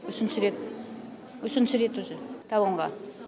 үшінші рет үшінші рет уже талонға